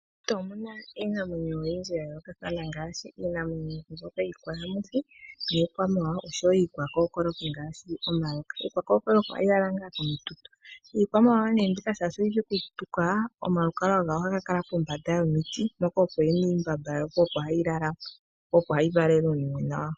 Meshito omuna iinamwenyo oyindji ya yoolokathana ngaashi iinamwenyo yiikwayamuthi, niikwamawa, oshowo iikwa kokoloki ngaashi omayoka .Iikwa kokoloki ohayi lala komitutu. Iikwamawawa oshoka oyishi oku tuka ohayi la pombanda yomiti, po opo hayi lala po opo hayi valele uunimwena wayo.